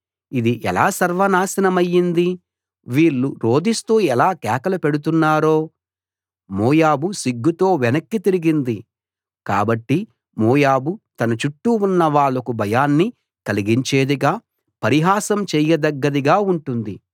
ఇది ఎలా సర్వ నాశనమైంది వీళ్ళు రోదిస్తూ ఎలా కేకలు పెడుతున్నారో మోయాబు సిగ్గుతో వెనక్కి తిరిగింది కాబట్టి మోయాబు తన చుట్టూ ఉన్న వాళ్లకు భయాన్ని కలిగించేదిగా పరిహాసం చేయదగ్గదిగా ఉంటుంది